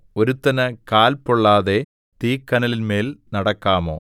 ഒരുത്തനു കാൽ പൊള്ളാതെ തീക്കനലിന്മേൽ നടക്കാമോ